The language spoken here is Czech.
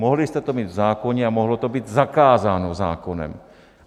Mohli jste to mít v zákoně a mohlo to být zakázáno zákonem.